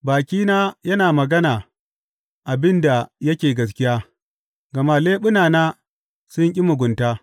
Bakina yana magana abin da yake gaskiya, gama leɓunana sun ƙi mugunta.